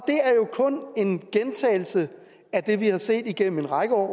kun en gentagelse af det vi har set igennem en række år